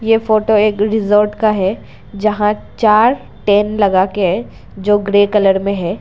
ये फोटो एक रिसोर्ट का है। जहां चार टेंट लगा के जो ग्रे कलर में है।